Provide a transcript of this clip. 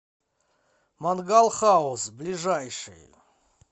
мангал хаус ближайший